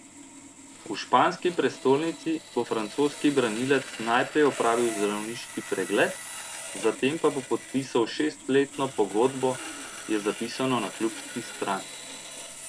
V španski prestolnici bo francoski branilec najprej opravil zdravniški pregled, zatem pa bo podpisal šestletno pogodbo, je zapisano na klubski strani.